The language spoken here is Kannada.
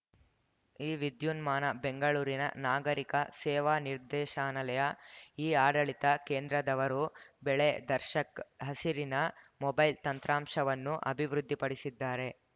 ಈ ವಿದ್ಯುನ್ಮಾನ ಬೆಂಗಳೂರಿನ ನಾಗರಿಕ ಸೇವಾ ನಿರ್ದೇಶನಾಲಯ ಇಆಡಳಿತ ಕೇಂದ್ರದವರು ಬೆಳೆ ದರ್ಶಕ್‌ ಹಸಿರನ ಮೊಬೈಲ್‌ ತಂತ್ರಾಂಶವನ್ನು ಅಭಿವೃದ್ಧಿಪಡಿಸಿದ್ದಾರೆ